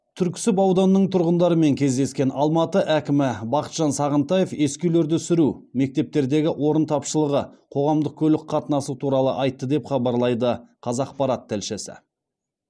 түрксіб ауданының тұрғындарымен кездескен алматы әкімі бақытжан сағынтаев ескі үйлерді сүру мектептердегі орын тапшылығы қоғамдық көлік қатынасы туралы айтты деп хабарлайды қазақпарат тілшісі